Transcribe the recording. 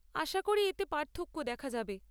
আশা করি এতে পার্থক্য দেখা যাবে।